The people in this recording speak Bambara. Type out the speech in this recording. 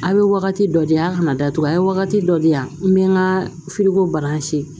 A' bɛ wagati dɔ de yan kana datugu an ye wagati dɔ di yan n bɛ n ka